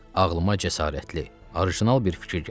Ağılıma cəsarətli, orijinal bir fikir gəlib.